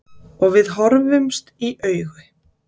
Og við horfumst í augu.